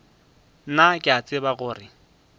nna ke a tseba gore